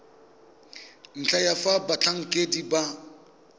ntlha ya fa batlhankedi ba